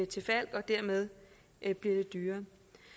til falck og dermed blev det dyrere